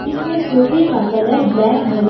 इसमें सोफे का कलर ब्लैक नज--